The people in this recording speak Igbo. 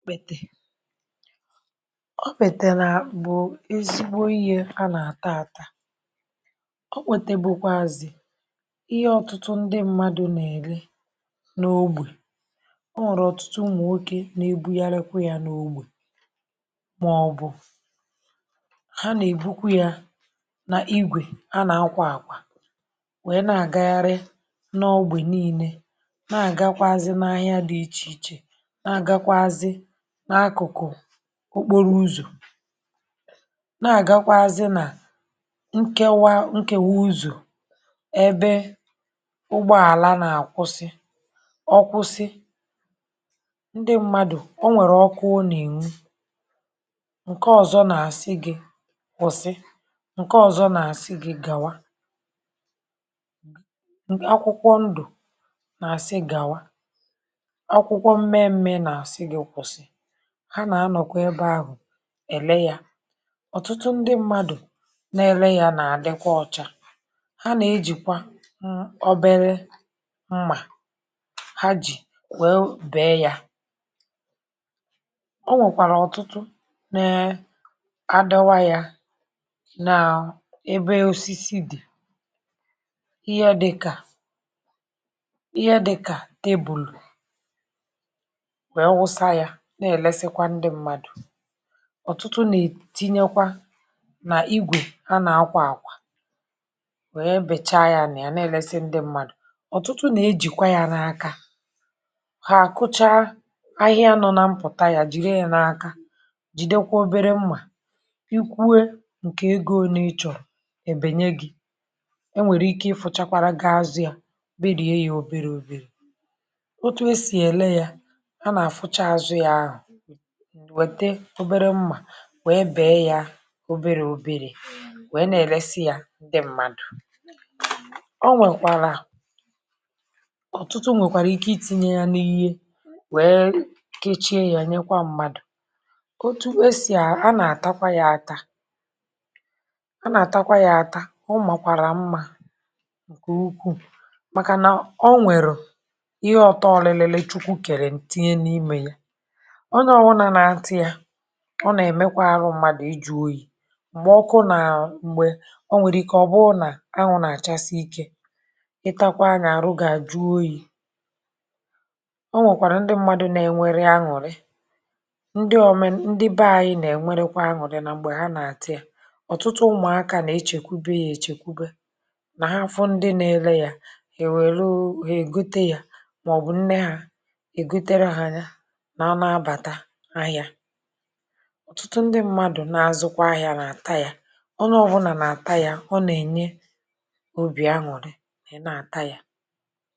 ọbètè, ọbètè rà bụ̀ ezigbo ihė ha nà-àta àta ọbètè bụkwazị̀ ihe ọ̀tụtụ ndị mmadụ̇ nà-èli n’ogbè o nwèrè ọ̀tụtụ ụmụ̀nwokė n’ebughari kwa ya n’ogbè màọbụ̀ ha nà-èbukwa ya nà igwè ha nà-akwa àkwà nwèe na-àgagharị n’ọgbè niilė na-àgakwa azị̇ na-ahịa dị̇ ichè ichè na-àgakwa azị̇ n’akụ̀kụ̀ okporo ụzọ̀ na-àgakwa azị nà nkewa nkèwa ụzọ̀ ẹbẹ ụgbọàla na-àkwụsị ọkwụsị ndị mmadụ̀ onwèrè ọkụ ò nà ènwu ǹkẹ ọzọ nà àsị gị̇ kwụ̀sị ǹkẹ ọzọ nà àsị gị̇ gàwa ǹkẹ akwụkwọ ndù nà àsị gàwa akwụkwọ mẹ̇mẹ̇ nà àsị gị̇ kwụ̀sị. Ha na anokwa ebe ahu èle yȧ ọ̀tụtụ ndị mmadụ̀ na-ele yȧ nà-àdịkwa ọ̇chȧ ha nà-ejìkwa ṁ obere ṁmà ha jì wèe bèe yȧ. o nwèkwàrà ọ̀tụtụ nèe adọwa yȧ n’ebe osisi dị̀ ihe dị̇kà ihe dị dị̇kà tebụlụ̀ wee wusa ya nà-èlesi ndị mmadù. ọ̀tụtụ nà-ètinyekwa nà igwè ha nà-akwa àkwà wèe bècha ya nà ya nà-èlesikwa ndị mmadù ọ̀tụtụ nà-ejìkwa ya n’aka ha àkụcha ahịa nọ nà mpụ̀ta yà jìri ya n’aka jìde kwa obere mmà ikwuė ǹkè ego òne ịchọ̀ro èbènye gị̇ enwèrè ike i fụ̇chakwara gị azụ̇ ya berie gi ya oberė oberė o tụ e sì èle ya, ha na a fụ̇cha azu ya ahu wète obere mmà wèe bèe ya oberė oberė wèe nà-èlesi yȧ ndị mmadụ̀ o nwèkwàrà ọ̀tụtụ nwèkwàrà ike iti̇nye ya n’ihe wèe kechie ya nyekwa mmadụ̀ otu esì a a nà-àtakwa ya ata a nà-àtakwa ya ata ọ màkwàrà mmȧ ǹkè ukwuù màkànà o nwèrù ihe ọ̀tọọlilili chukwu kèrè tinye n’imė ya ọnye obula na-ata ya ọ nà-èmekwa arụ mmadụ̀ ijuoyi̇ m̀gbè ọkụ nà m̀gbè o nwèrè ike ọ̀ bụrụ nà anwụ̇ nà àchasị ikė ị takwa anyȧ àrụ gà juo oyi̇ o nwèkwàrà ndị mmadụ̇ na-enwere anụ̀rị ndị omenu ndị be ȧnyị̇ nà-enwerekwa anụ̀rị nà m̀gbè ha nà-àta yȧ ọ̀tụtụ ụmụ̀akȧ nà echèkwube yȧ echèkwube nà ha fu ndị nȧ-ele yȧ ya èwèru hà ègote yȧ mà ọ̀ bụ̀ nne hȧ ègotere hȧ ya ma ha na-abatà ahia. ọ̀tụtụ ndị mmadụ̀ na-azụkwa ahịa n’àta yȧ ọnye bụnà n’àta yȧ ọ nà-ènye obì añụ̀rị na ì nà-ata yȧ